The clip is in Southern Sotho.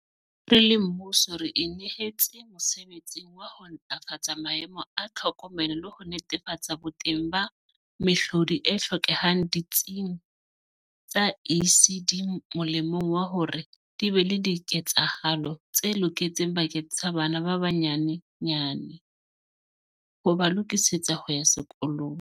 Re le mmuso re inehetse mosebetsing wa ho ntlafatsa maemo a tlhokomelo le ho netefatsa boteng ba mehlodi e hlokehang ditsing tsa ECD molemong wa hore di be le diketsahalo tse loketseng bakeng sa bana ba banye nyane, ho ba lokisetsa ho ya sekolong.